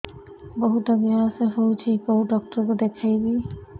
ବହୁତ ଗ୍ୟାସ ହଉଛି କୋଉ ଡକ୍ଟର କୁ ଦେଖେଇବି